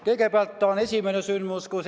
Kõigepealt esimene sündmus.